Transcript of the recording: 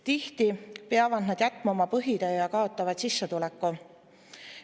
Tihti peavad nad jätma oma põhitöö ja kaotavad sissetuleku.